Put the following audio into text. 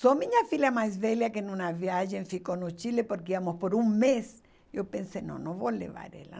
Só minha filha mais velha, que em uma viagem ficou no Chile, porque íamos por um mês, eu pensei, não, não vou levar ela.